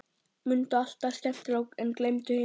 Mundu allt það skemmtilega, en gleymdu hinu.